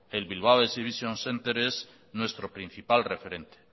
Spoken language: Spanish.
el bilbao exhibition centre es nuestro principal referente